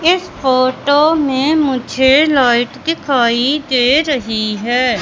इस फोटो में मुझे लाइट दिखाई दे रही है।